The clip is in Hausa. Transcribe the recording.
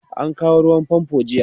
an kawo ruwan fanfo jiya